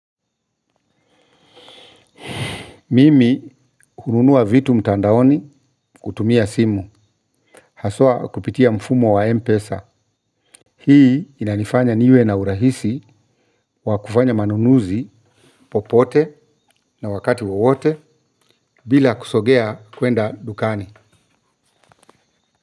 Mimi hununua vitu mtandaoni kutumia simu. Haswa kupitia mfumo wa Mpesa. Hii inanifanya niwe na urahisi wakufanya manunuzi popote na wakati wowote. Bila kusogea kwenda dukani.